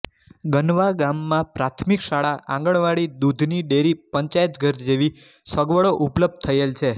ગનવા ગામમાં પ્રાથમિક શાળા આંગણવાડી દૂધની ડેરી પંચાયતઘર જેવી સગવડો ઉપલબ્ધ થયેલ છે